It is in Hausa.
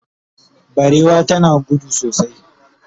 barewa tana gudu sosai